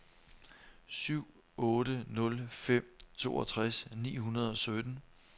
syv otte nul fem toogtres ni hundrede og sytten